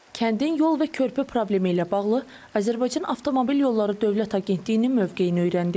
Kəndin yol və körpü problemi ilə bağlı Azərbaycan Avtomobil Yolları Dövlət Agentliyinin mövqeyini öyrəndik.